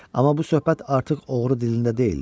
Amma bu söhbət artıq oğru dilində deyildi.